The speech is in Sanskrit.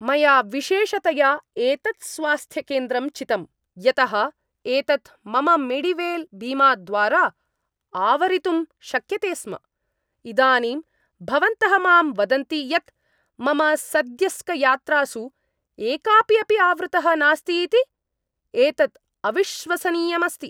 मया विशेषतया एतत् स्वास्थ्यकेन्द्रं चितम् यतः एतत् मम मेडिवेल् बीमाद्वारा आवरीतुं शक्यते स्म । इदानीं भवन्तः मां वदन्ति यत् मम सद्यस्कयात्रासु एकापि अपि आवृतः नास्ति इति? एतत् अविश्वसनीयम् अस्ति!